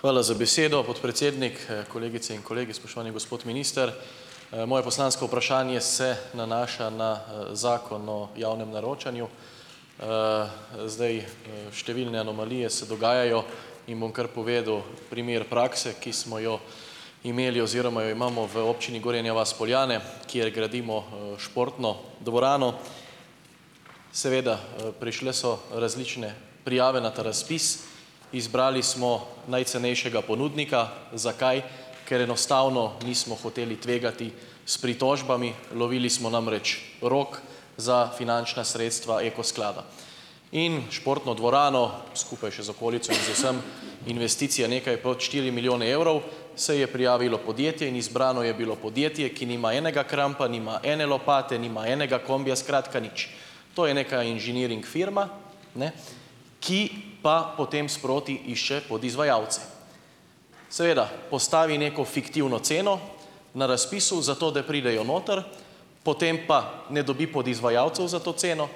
Hvala za besedo, podpredsednik. Kolegice in kolegi, spoštovani gospod minister. Moje poslansko vprašanje se nanaša na Zakon o javnem naročanju. Zdaj, številne anomalije se dogajajo, in bom kar povedal primer prakse, ki smo jo imeli oziroma jo imamo v občini Gorenja vas - Poljane, kjer gradimo športno dvorano. Seveda, prišle so različne prijave na ta razpis. Izbrali smo najcenejšega ponudnika. Zakaj? Ker enostavno nismo hoteli tvegati s pritožbami. Lovili smo namreč rok za finančna sredstva Eko sklada in športno dvorano, skupaj še z okolico in z vsem, investicija nekaj pod štiri milijone evrov, se je prijavilo podjetje in izbrano je bilo podjetje, ki nima enega krampa, nima ene lopate, nima enega kombija, skratka nič. To je neka inženiring firma, ne, ki pa potem sproti išče podizvajalce. Seveda, postavi neko fiktivno ceno na razpisu, zato da pridejo noter, potem pa ne dobi podizvajalcev za to ceno,